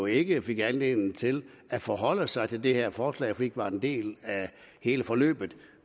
ikke fik anledning til at forholde sig til det her forslag fordi vi ikke var en del af hele forløbet